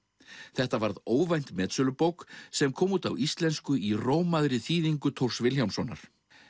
þetta varð óvænt metsölubók sem kom út á íslensku í þýðingu Thors Vilhjálmssonar